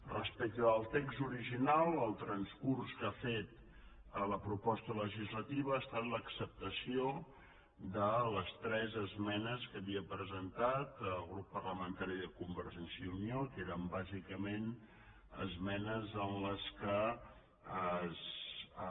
respecte del text original el transcurs que ha fet a la proposta legislativa ha estat l’acceptació de les tres esmenes que havia presentat el grup parlamentari de convergència i unió que eren bàsicament esmenes en què